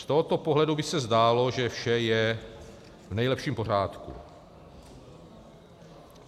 Z tohoto pohledu by se zdálo, že vše je v nejlepším pořádku.